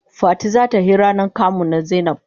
Fati za ta he ranan kamu na zainab.